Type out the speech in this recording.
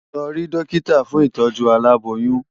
Lò ri dòkitá fún itòjú àlábóyùn